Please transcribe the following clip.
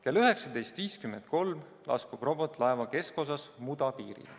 Kell 19.53 laskub robot laeva keskosas muda piirile.